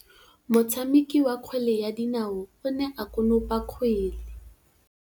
Motshameki wa kgwele ya dinaô o ne a konopa kgwele.